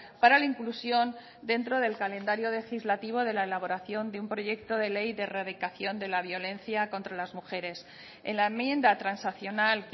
para la inclusión dentro del calendario legislativo de la elaboración de un proyecto de ley de erradicación de la violencia contra las mujeres en la enmienda transaccional